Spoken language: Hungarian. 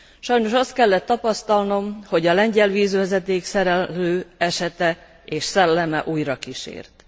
Sajnos azt kellett tapasztalnom, hogy a lengyel vízvezeték szerelő esete és szelleme újra kísért.